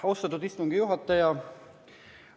Austatud istungi juhataja!